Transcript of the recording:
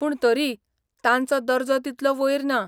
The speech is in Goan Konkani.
पूण तरी, तांचो दर्जो तितलो वयर ना.